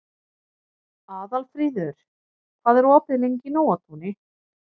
Aðalfríður, hvað er opið lengi í Nóatúni?